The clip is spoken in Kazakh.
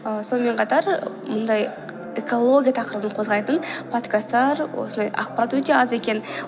ы сонымен қатар мұндай экология тақырыбын қозғайтын подкасттар осындай ақпарат өте аз екен